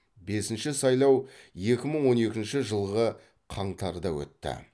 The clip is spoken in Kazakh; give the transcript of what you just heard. бесінші сайлау екі мың он екінші жылғы қаңтарда өтті